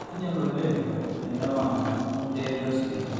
einyal oleng enewang wenterit osinyai